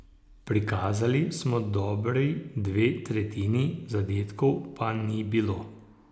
Prikazali smo dobri dve tretjini, zadetkov pa ni bilo.